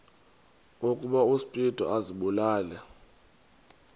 ukuba uspido azibulale